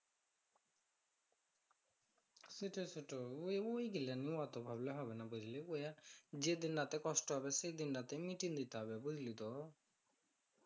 সেটাই সেটাই ওই ওই গুলা নিয়ে অত ভাবলে হবে না বুঝলি অইয়া এক যেদিন রাতে কষ্ট হবে সেদিন রাতে মিটিং নিতে হবে বুঝলি তো